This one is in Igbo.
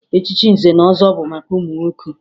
Echichi nze na ọzọ bụ maka ụmụ nwoke